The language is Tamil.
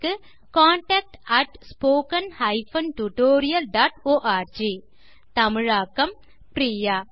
contact at spoken hyphen tutorial dot org தமிழாக்கம் பிரியா